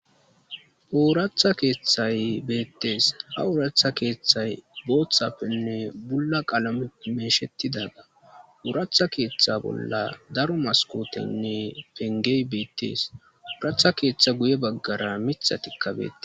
Ooratha keethay beettes. Ha ooratha keethay boothappenne bulla qalameppe meeshettida. Ooratha keeththa bolla daro maskooteynne penggey beettees. Ooratha keeththa guye baggara mithatikka bete